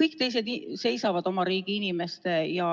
Kõik teised seisavad oma riigi inimeste ja